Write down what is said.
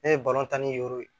Ne ye tan ni woro ye